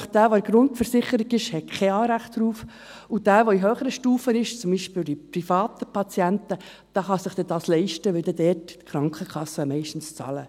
Wer nämlich in der Grundversicherung ist, hat kein Anrecht darauf, und wer in einer höheren Stufe ist, zum Beispiel die privaten Patienten, kann sich dies leisten, weil dort die Krankenkassen meistens bezahlen.